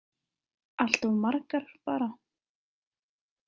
Allt of margar, bara.